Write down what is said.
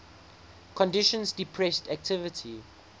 conditions depressed activity